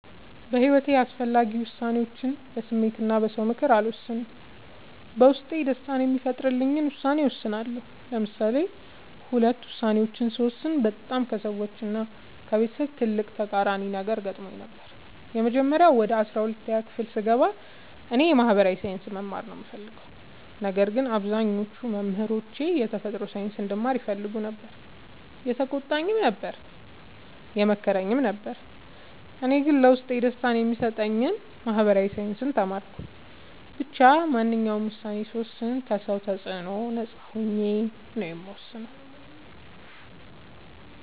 በሒወቴ አስፈላጊ ወሳኔዎችን በስሜት እና በ ሰው ምክር አልወሰንም። በውስጤ ደስታን የሚፈጥርልኝን ውሳኔ እወስናለሁ። ለምሳሌ ሁለት ውሳኔዎችን ስወስን በጣም ከሰዎች እና ከቤተሰብ ትልቅ ተቃራኒ ነገር ገጥሞኝ ነበር። የመጀመሪያው ወደ አስራአንድ ክፍል ስገባ እኔ የ ማህበራዊ ሳይንስ መማር ነው የምፈልገው። ነገር ግን አብዛኞቹ መምህሮቼ የተፈጥሮ ሳይንስ እንድማር ይፈልጉ ነበር የተቆጣኝም ነበር የመከረኝም ነበር እኔ ግን ለውስጤ ደስታን የሚሰጠኝን ማህበራዊ ሳይንስ ተማርኩ። ብቻ ማንኛውንም ውሳኔ ስወስን ከ ሰው ተፅዕኖ ነፃ ሆኜ ነው የምወስነው።